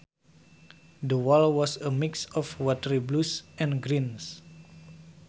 The wall was a mix of watery blues and greens